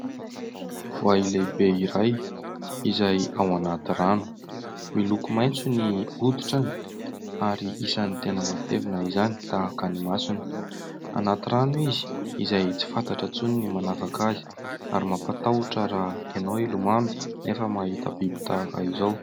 Voay lehibe iray izay ao anaty rano. Miloko maitso ny hoditrany ary isany tena matevina izany, tahaka ny masony. Anaty rano izy, izay tsy fantatra intsony ny manavaka azy, ary mampatahotra raha ianao ilomano nefa mahita biby tahaka izao.